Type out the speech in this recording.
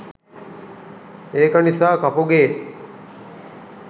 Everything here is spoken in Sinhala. ඒක නිසා කපුගේ